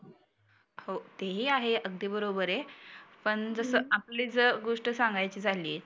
हो ते ही आहे अगदी बरोबर आहे. पण जसं आपली जर गोष्ट सांगायची झाली